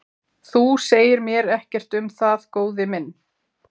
Þú segir mér ekkert um það góði minn.